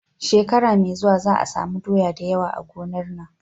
Shekara me zuwa za a samu doya dayawa a gonar nan